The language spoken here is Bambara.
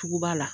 Tugu ba la